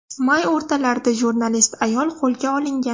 May o‘rtalarida jurnalist ayol qo‘lga olingan.